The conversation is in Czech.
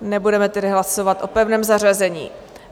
Nebudeme tedy hlasovat o pevném zařazení.